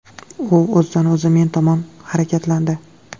U o‘zidan-o‘zi men tomon harakatlandi.